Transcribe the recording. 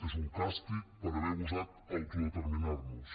és un càstig per haver gosat autodeterminar nos